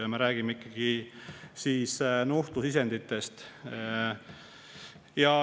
Ja me räägime ikkagi nuhtlusisenditest.